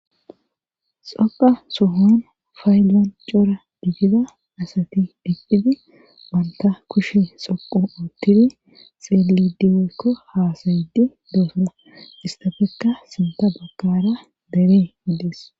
Xoqa sohon faylan cora diidida asati deqdhidi banta kushe xoqo uttidi xeelidiweykko haasayidi doosana istafekka sinta bakara deree yidees.